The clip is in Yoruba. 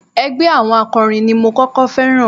Ẹgbẹ́ àwọn akọrin ni mo kọ́kọ́ féràn.